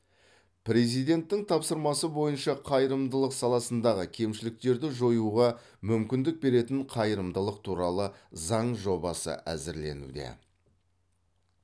президенттің тапсырмасы бойынша қайырымдылық саласындағы кемшіліктерді жоюға мүмкіндік беретін қайырымдылық туралы заң жобасы әзірленуде